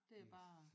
Det er bare